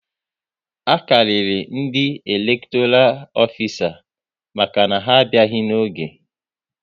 A karịrị ndị elektoral ofisa maka na ha abịaghị n'oge